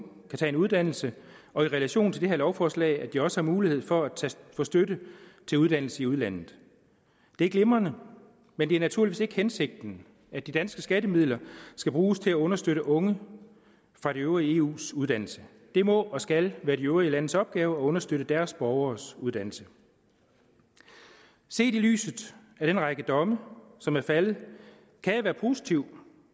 kan tage en uddannelse og i relation til det her lovforslag at de også har mulighed for at få støtte til uddannelse i udlandet det er glimrende men det er naturligvis ikke hensigten at de danske skattemidler skal bruges til at understøtte unge fra det øvrige eus uddannelse det må og skal være de øvrige landes opgave at understøtte deres borgeres uddannelse set i lyset af den række domme som er faldet kan jeg være positiv